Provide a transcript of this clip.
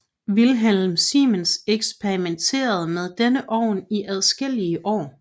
Wilhelm Siemens eksperimenterede med denne ovn i adskillige år